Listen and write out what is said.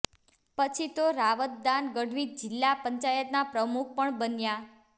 પછી તો રાવતદાન ગઢવી જીલ્લા પંચાયતના પ્રમુખ પણ બન્યા